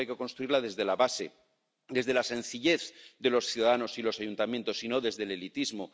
Europa hay que construirla desde la base, desde la sencillez de los ciudadanos y los ayuntamientos, y no desde el elitismo.